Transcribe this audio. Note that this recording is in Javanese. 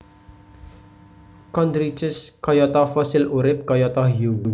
Chondrichthyes kayata Fossil urip kayata Hiu